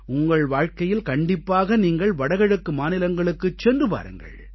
உங்கள் வாழ்க்கையில் கண்டிப்பாக நீங்கள் வடகிழக்கு மாநிலங்களுக்குச் சென்று பாருங்கள்